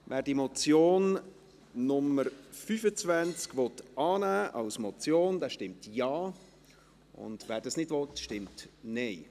Wer das Traktandum 25 als Motion annehmen will, stimmt Ja, wer dies nicht will, stimmt Nein.